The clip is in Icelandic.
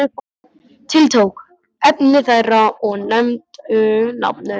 Tiltók efni þeirra og nefndi nafn þitt.